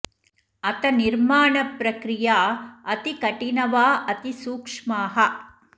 अथ निर्माण प्रक्रिया अति कठिन वा अति सूक्ष्माः